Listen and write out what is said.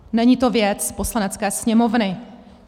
Není to věc Poslanecké sněmovny.